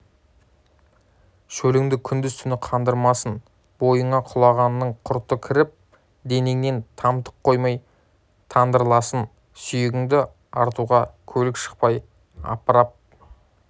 шөліңді күндіз-түні қандырмасын бойыңа құлғананың құрты кіріп денеңнен тамтық қоймай тандырласын сүйегіңді артуға көлік шықпай апарып